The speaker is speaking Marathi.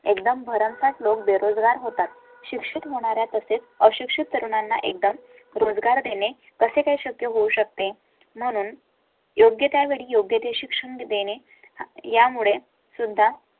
एकदम भरमसाठ लोक बेरोजगार होतात, शिक्षक होणार आहे तसेच अशिक्षित तरुणांना एकदा रोजगार देणे कसे काय शक्य होऊ शकते म्हणून योग्य त्या वेळी योग्य ते शिक्षण देणे यामुळे सुंदर